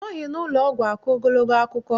Anọghị n'ụlọọgwụ akọ ogologo akụkọ.